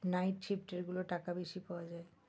Night shift এর গুলো টাকা বেশি পাওয়া যায়।